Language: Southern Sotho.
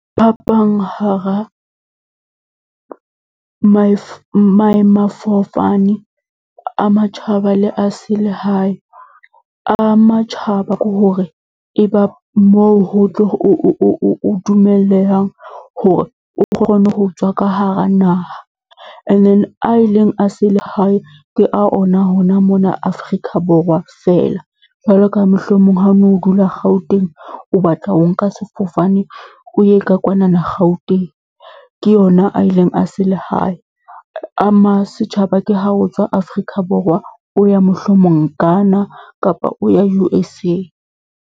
Phapang hara maemafofane a matjhaba le a selehae, a matjhaba ke hore e ba moo ho tlo o dumellehang hore o kgone ho tswa ka hara naha. And then a eleng a selehae ke a ona hona mona Afrika Borwa fela. Jwalo ka mohlomong ha o no dula Gauteng, o batla ho nka sefofane, o ye ka kwanana Gauteng. Ke yona a eleng a selehae. A ma setjhaba ke ha o tswa Afrika Borwa, o ya mohlomong Ghana kapa o ya U_S_A.